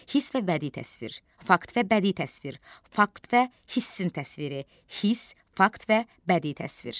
Hiss və bədii təsvir, fakt və bədii təsvir, fakt və hissin təsviri, hiss, fakt və bədii təsvir.